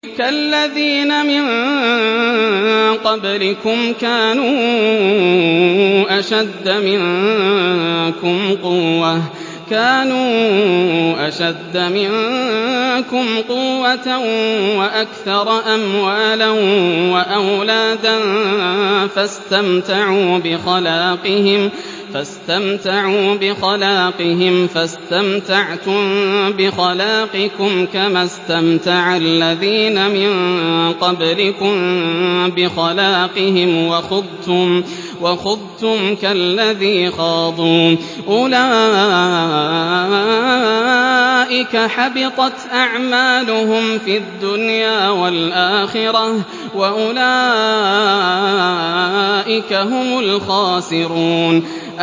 كَالَّذِينَ مِن قَبْلِكُمْ كَانُوا أَشَدَّ مِنكُمْ قُوَّةً وَأَكْثَرَ أَمْوَالًا وَأَوْلَادًا فَاسْتَمْتَعُوا بِخَلَاقِهِمْ فَاسْتَمْتَعْتُم بِخَلَاقِكُمْ كَمَا اسْتَمْتَعَ الَّذِينَ مِن قَبْلِكُم بِخَلَاقِهِمْ وَخُضْتُمْ كَالَّذِي خَاضُوا ۚ أُولَٰئِكَ حَبِطَتْ أَعْمَالُهُمْ فِي الدُّنْيَا وَالْآخِرَةِ ۖ وَأُولَٰئِكَ هُمُ الْخَاسِرُونَ